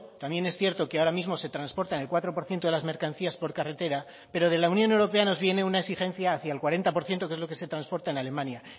también es cierto que ahora mismo se transportan el cuatro por ciento de las mercancías por carretera pero de la unión europea nos viene una exigencia hacia el cuarenta por ciento que es lo que se transporta en alemania